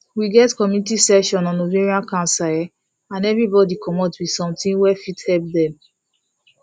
we get community session on ovarian cancer um and everybody commot with something wey fit help dem